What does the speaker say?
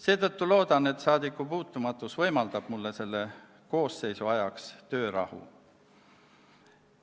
Seetõttu loodan, et saadikupuutumatus võimaldab mulle selle koosseisu ajaks töörahu.